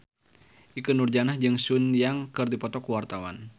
Ikke Nurjanah jeung Sun Yang keur dipoto ku wartawan